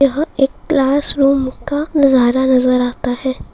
यहां एक क्लासरूम का नजारा नजर आता है|